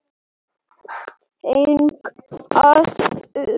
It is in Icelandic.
Hvernig verður staður til?